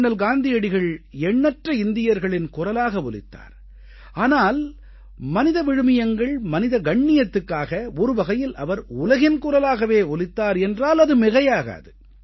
அண்ணல் காந்தியடிகள் எண்ணற்ற இந்தியர்களின் குரலாக ஒலித்தார் ஆனால் மனித விழுமியங்கள் மனித கண்ணியத்துக்காக ஒரு வகையில் அவர் உலகின் குரலாகவே ஒலித்தார் என்றால் அது மிகையாகாது